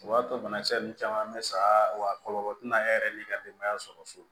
O b'a to banakisɛ ninnu caman bɛ sa wa kɔlɔlɔ tina e yɛrɛ ni ka denbaya sɔrɔ so